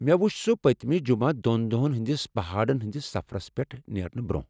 مےٚ وُچھ سُہ پتِمہِ جمعہ دۄن دۄہن ہٕنٛدس پہاڑن ہٕنٛدس سفرس پٮ۪ٹھ نیرنہٕ برٛۄنٛہہ ۔